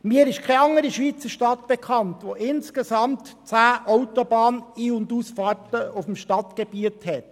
Mir ist keine andere Schweizer Stadt bekannt, die auf dem Stadtgebiet insgesamt 10 Autobahn Ein- und Ausfahrten hat.